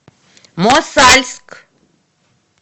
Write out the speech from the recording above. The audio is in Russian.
мосальск